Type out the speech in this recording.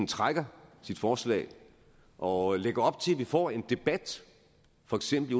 trækker sit forslag og lægger op til at vi får en debat for eksempel